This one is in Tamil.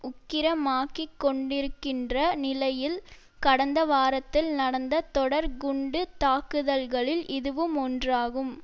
உக்கிரமாக்கிக்கொண்டிருக்கின்ற நிலையில் கடந்த வாரத்தில் நடந்த தொடர் குண்டு தாக்குதல்களில் இதுவும் ஒன்றாகும்